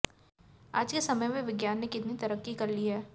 आज के समय में विज्ञान ने कितनी तरक्की कर ली है